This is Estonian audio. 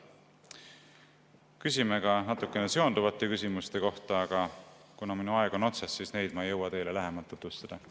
Küsime ka natukene seonduvate küsimuste kohta, aga kuna mu aeg on otsas, siis neid ei jõua ma teile lähemalt tutvustada.